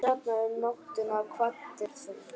Seinna um nóttina kvaddir þú.